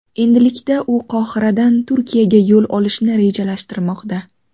Endilikda u Qohiradan Turkiyaga yo‘l olishni rejalashtirmoqda.